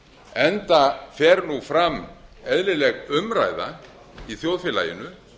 enda fer nú fram eðlileg umræða í þjóðfélaginu